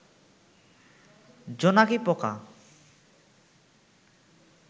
জোনাকি পোকা